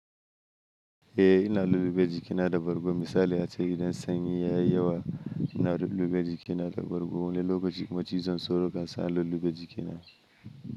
Eh, ina lullube jikina da bargo. Misali ace idan sanyi yayi yawa, ina lullube jikina da bargo. Wani lokaci kuma cizan sauro kansa lullube jikina.